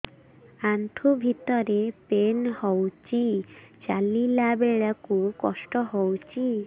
ଆଣ୍ଠୁ ଭିତରେ ପେନ୍ ହଉଚି ଚାଲିଲା ବେଳକୁ କଷ୍ଟ ହଉଚି